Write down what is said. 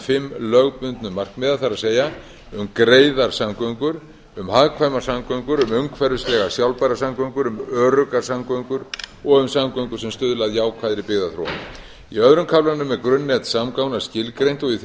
fimm lögbundnu markmiða það er um greiðar samgöngur um hagkvæmar samgöngur um umhverfislega sjálfbærar samgöngur um öruggar samgöngur og um samgöngur sem stuðla að jákvæðri byggðaþróun í öðrum kaflanum er grunnnet samgangna skilgreint og í þriðja